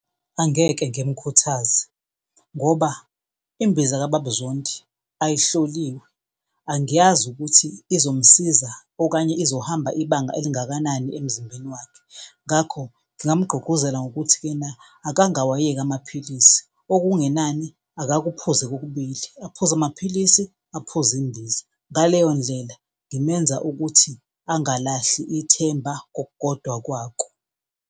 Angeke ngimkhuthaze ngoba imbiza kababa uZondi ayihloliwe, angiyazi ukuthi izomsiza okanye izohamba ibanga elingakanani emzimbeni wakhe. Ngakho, ngingamugqugquzela ngokuthi-kena akangawayeki amaphilisi okungenani akaphuze kokubili, aphuze amaphilisi, aphuze imbiza. Ngaleyo ndlela ngimenza ukuthi angalahli ithemba kokukodwa kwako.